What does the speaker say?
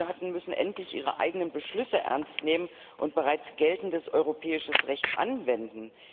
Die Mitgliedstaaten müssen endlich ihre eigenen Beschlüsse ernst nehmen und bereits geltendes europäisches Recht anwenden!